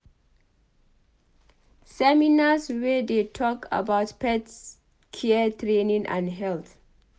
Seminars wey dey talk about pet care training and health